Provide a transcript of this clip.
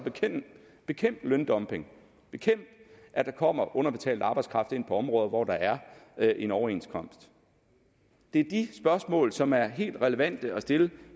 bekæmpe løndumping bekæmpe at der kommer underbetalt arbejdskraft ind på områder hvor der er er en overenskomst det er de spørgsmål som er helt relevante at stille